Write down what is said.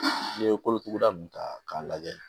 N'i ye kolotuguda ninnu ta k'a lajɛ